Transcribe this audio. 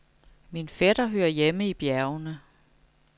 Min fætter hører hjemme i bjergene.